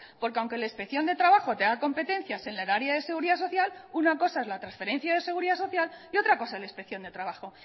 porque aunque la inspección de trabajo tenga competencias en el área de seguridad social una cosa es la transferencia de seguridad social y otra cosa es la inspección de trabajo